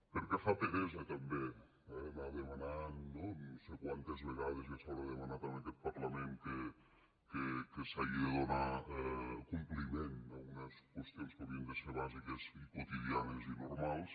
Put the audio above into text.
perquè fa peresa també eh anar demanant no no sé quantes vegades ja es deu haver demanat en aquest parlament que s’hagi de donar compliment a unes qüestions que haurien de ser bàsiques i quotidianes i normals